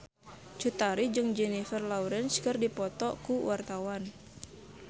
Cut Tari jeung Jennifer Lawrence keur dipoto ku wartawan